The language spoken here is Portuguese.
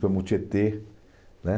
Fomos no Tietê, né?